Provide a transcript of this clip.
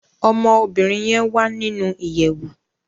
Ọmọ obìrin yen wá nínú ìyèwù.